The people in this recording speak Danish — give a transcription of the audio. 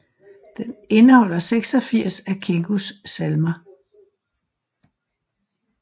Den indeholder 86 af Kingos salmer